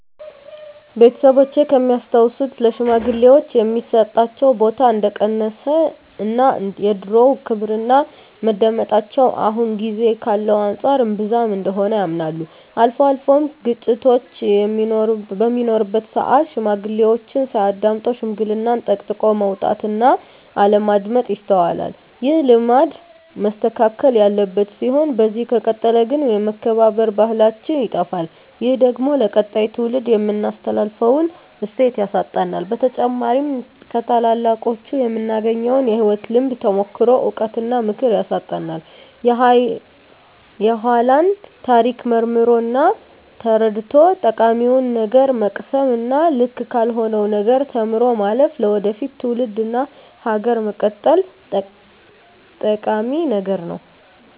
ቤተሰቦቼ ከሚያስታውሱት ለሽማግሌወች የሚሰጣቸው ቦታ እንደቀነሰ እና የድሮው ክብርና መደመጣቸው አሁን ጊዜ ካለው አንፃር እንብዛም እንደሆነ ያምናሉ። አልፎ አልፎም ግጭቶች በሚኖሩበት ስአት ሽማግሌዎችን ሳያዳምጡ ሽምግልናን ጠቅጥቆ መውጣት እና አለማዳመጥ ይስተዋላል። ይህ ልማድ መስተካከል ያለበት ሲሆን በዚህ ከቀጠለ ግን የመከባበር ባህላችን ይጠፋል። ይህ ደግሞ ለቀጣይ ትውልድ የምናስተላልፈውን እሴት ያሳጣናል። በተጨማሪም ከታላላቆቹ የምናገኘውን የህይወት ልምድ፣ ተሞክሮ፣ እውቀት እና ምክር ያሳጣናል። የኃላን ታሪክ መርምሮ እና ተረድቶ ጠቃሚውን ነገር መቅሰም እና ልክ ካልሆነው ነገር ተምሮ ማለፍ ለወደፊት ትውልድ እና ሀገር መቀጠል ጠቂሚ ነገር ነው።